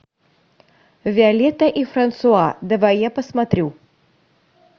виолетта и франсуа давай я посмотрю